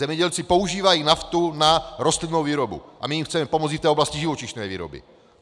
Zemědělci používají naftu na rostlinnou výrobu a my jim chceme pomoci i v oblasti živočišné výroby.